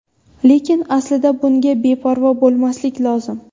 Lekin aslida bunga beparvo bo‘lmaslik lozim.